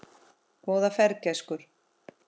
Góða ferð, gæskur.